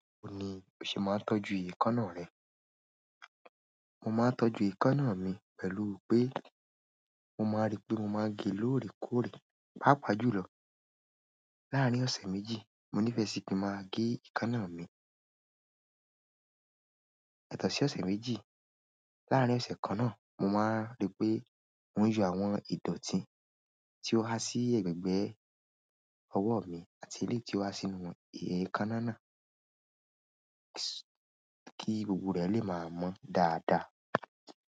Báwo ni o ṣe máa ń tọ́jú èékánná rẹ? Mo máa ń tọ́jú èékánná mi pẹ̀lú pé mo máa rí pé mo máa gé lóòrè kóòrè. Pápa jùlọ láàrín ọ̀sẹ̀ méjì mo nífẹ̀ẹ́ sí pé máa gé èékánná mi. Yatọ́ sí ọ̀sẹ̀ méjì. Láàrín ọ̀sẹ̀ kan náà mo máa rí pé mò ń yọ àwọn ìdọ̀tí tí ó há sí gbẹ̀gbẹ́ ọwọ́ mi àti elé tí ó há sínú èékánná náà kí gbogbo rẹ̀ lè máa mọ́ dáadáa.